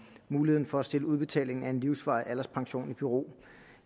muligheden for at stille udbetaling af en livsvarig alderspension i bero